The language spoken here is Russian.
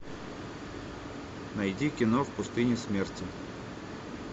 найди кино в пустыне смерти